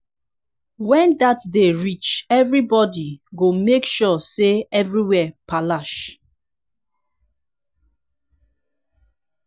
wen dat day reach evribody go make sure say everywhere palash